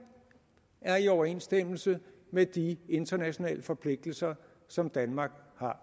er i overensstemmelse med de internationale forpligtelser som danmark